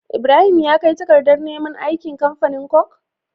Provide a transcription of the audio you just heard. Ibrahim ya kai takadar ne man aiki kamfanin coke?